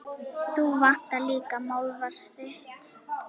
Þú vandar líka málfar þitt.